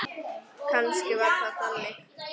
Kannski var það þannig.